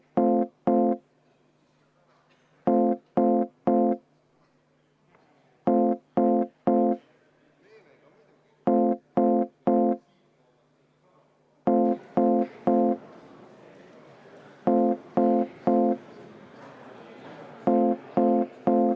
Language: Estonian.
Läbirääkimiste soovi erakondadel enam ei olnud, läbirääkimiste voor on läbi.